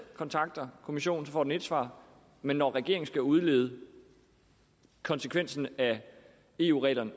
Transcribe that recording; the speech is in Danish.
kontakter kommissionen får den ét svar men når regeringen skal udlede konsekvensen af eu reglerne